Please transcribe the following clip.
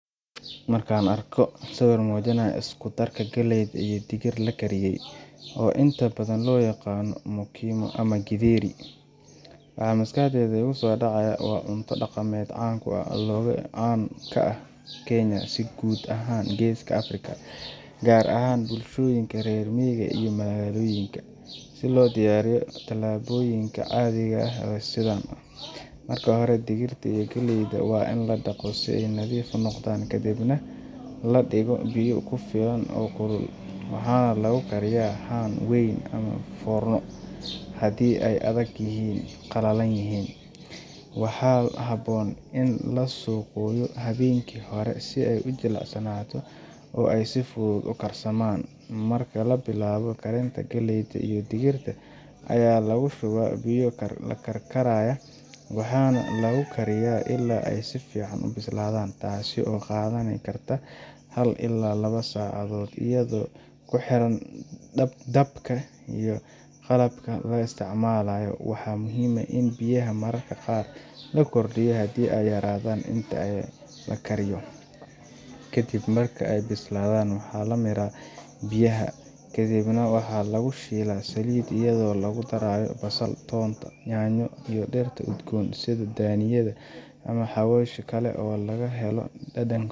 Markaan arko sawir mujinaaya galeey iyo digit, waa cunto daqameed oo caan ku ah dalka, marka hore waan in ladaqo, kadib ladigo foorna weyn ama Haan, waa in laqooyo habeen hore si aay ujilcaan, waxaa lakariyaa si aay si fican ubisladam, waxaa muhiim ah in biyaha mararka qaar la kordiyo, waxaa lagu daraa nyanya, dania iyo xawasha kale.